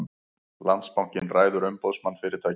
Landsbankinn ræður Umboðsmann fyrirtækja